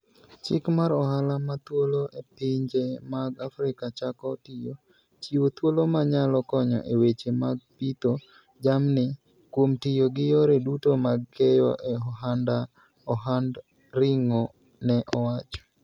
Chik mar ohala ma thuolo e pinje mag Afrika chako tiyo, chiwo thuolo ma nyalo konyo e weche mag pidho jamni kuom tiyo gi yore duto mag keyo e ohand ring'o, ne owacho.